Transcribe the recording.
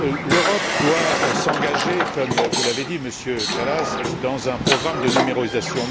L'Europe doit s'engager, comme vous l'avez dit, Monsieur Kallas, dans un programme de numérisation.